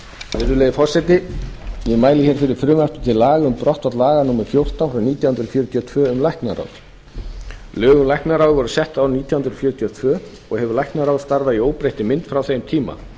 virðulegi forseti ég mæli hér fyrir frumvarpi til laga um um brottfall laga númer fjórtán nítján hundruð fjörutíu og tvö um læknaráð lög um læknaráð voru sett árið nítján hundruð fjörutíu og tvö og hefur læknaráð starfað í óbreyttri mynd frá þeim tíma